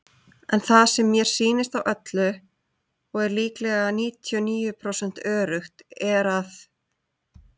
En það sem mér sýnist á öllu, og er lílega 99% öruggt er að.